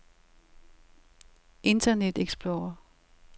internet explorer